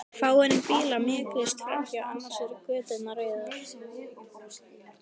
Fáeinir bílar mjökuðust framhjá, annars voru göturnar auðar.